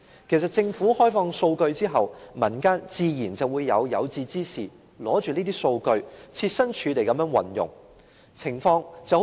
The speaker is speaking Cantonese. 其實，政府開放數據之後，民間的有志之士自然會運用這些數據，設身處地為別人着想。